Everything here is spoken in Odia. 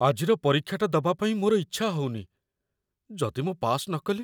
ଆଜିର ପରୀକ୍ଷାଟା ଦବା ପାଇଁ ମୋର ଇଚ୍ଛା ହଉନି । ଯଦି ମୁଁ ପାସ୍ ନ କଲି?